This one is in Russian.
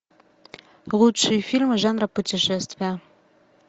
лучшие фильмы жанра путешествия